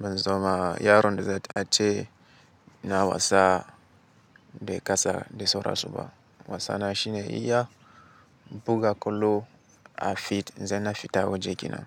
ban zama yaron da za ta ce na wasa da kasa da sauransu ba. Wasa na shi ne iya buga kwallo a fit, idan na fita waje kenan.